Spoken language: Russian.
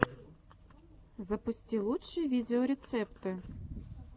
запусти лучшие видеорецепты